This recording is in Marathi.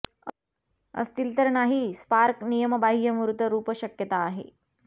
असतील तर नाही स्पार्क नियमबाह्य मूर्त रुप शक्यता आहे